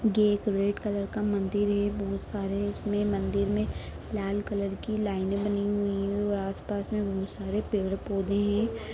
ये एक red colour का मंदिर है बहुत सारे इसमें मंदिर में लाल कलर की लाईने बनी हुई है और आसपास में बहुत सारे पेड़-पौधे है।